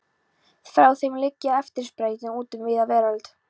Frá þeim liggja efnisþræðir út um víða veröld.